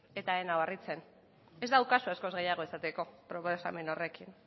eta ez nau harritzen ez daukazu askoz gehiago esateko proposamen horrekin